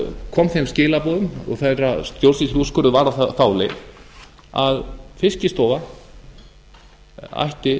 kom þeim skilaboðum og þeirra stjórnsýsluúrskurður var á þá leið að fiskistofa ætti